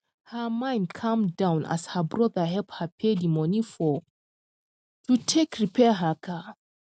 her mind calm down as her brother help her pay di money for to take repair her car